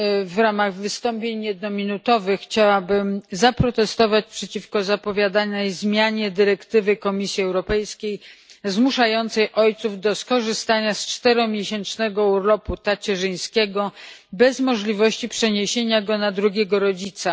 W ramach wystąpień jednominutowych chciałabym zaprotestować przeciwko zapowiadanej zmianie dyrektywy Komisji Europejskiej zmuszającej ojców do skorzystania z czteromiesięcznego urlopu tacierzyńskiego bez możliwości przeniesienia go na drugiego rodzica.